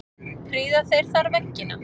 Prýða þeir þar veggina.